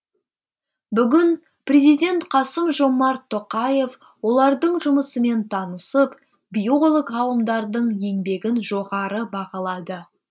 бүгін президент қасым жомарт тоқаев олардың жұмысымен танысып биолог ғалымдардың еңбегін жоғары бағалады